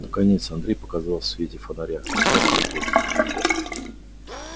наконец андрей показался в свете фонаря отряхивая куртку